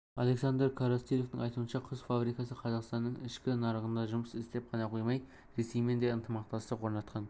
александр коростылевтің айтуынша құс фабрикасы қазақстанның ішкі нарығында жұмыс істеп қана қоймай ресеймен де ынтымақтастық орнатқан